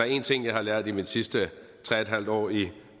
en ting jeg har lært i mine sidste tre en halv år i